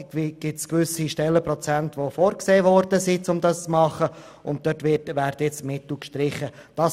Es wurden gewisse Stellenprozente dafür vorgesehen, und nun sollen die Mittel dafür gestrichen werden.